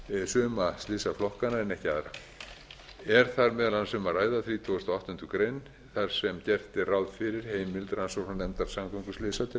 suma slysaflokkana en ekki aðra er þar meðal annars um að ræða þrítugasta og áttundu greinar þar sem gert er ráð fyrir heimild rannsóknarnefndar samgönguslysa til